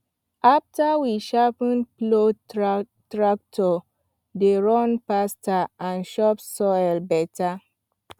after we sharpen plow tractor dey run faster and chop soil better